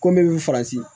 Ko ne bɛ faransi